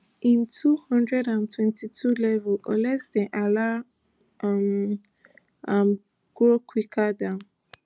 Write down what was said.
im two thousand and twenty-two level unless dem allow um am grow quicker dan